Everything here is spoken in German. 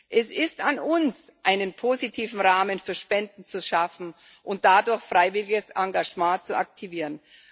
Es ist an uns, einen positiven Rahmen für Spenden zu schaffen und dadurch freiwilliges Engagement zu aktivieren.